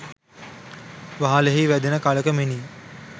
වහලෙහි වැදෙන කලක මෙනි.